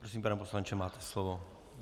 Prosím, pane poslanče, máte slovo.